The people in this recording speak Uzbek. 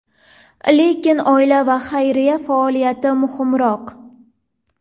Lekin oila va xayriya faoliyati muhimroq.